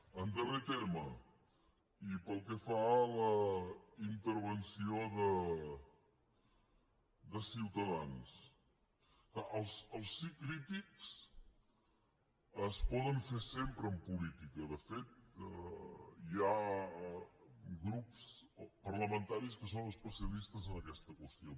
en darrer terme i pel que fa a la intervenció de ciutadans els sís crítics es poden fer sempre en política de fet hi ha grups parlamentaris que són especialistes en aquesta qüestió